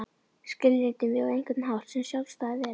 Skilgreindi mig á einhvern hátt sem sjálfstæða veru.